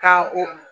Ka o